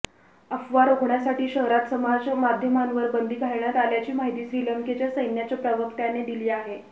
अफवा रोखण्यासाठी शहरात समाजमाध्यमांवर बंदी घालण्यात आल्याची माहिती श्रीलंकेच्या सैन्याच्या प्रवक्त्याने दिली आहे